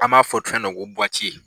An b'a fɔ fɛn dɔ ko